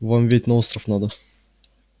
вам ведь на остров надо